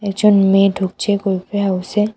একজন মেয়ে ঢুকছে কুলফি হাউসে।